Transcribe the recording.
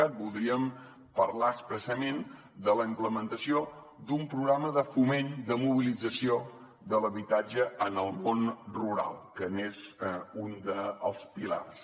cat voldríem parlar expressament de la implementació d’un programa de foment de mobilització de l’habitatge en el món rural que n’és un dels pilars